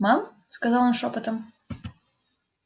мам сказал он шёпотом